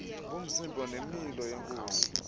bomzimba nemilo yenkosi